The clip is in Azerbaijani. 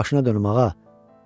Bax başına dönüm ağa.